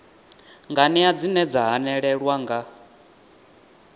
nganea dzine dza hanelelwa nga